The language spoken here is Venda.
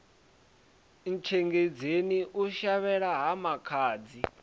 ntshengedzeni u shavhela ha makhadzi